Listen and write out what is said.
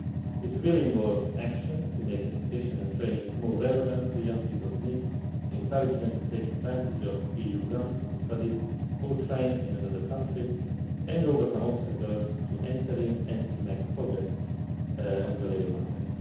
It will involve action to make education and training more relevant to young people's needs, encourage them to take advantage of EU grants to study or train in another country and overcome obstacles to entering and making progress in the labour market.